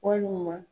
Walima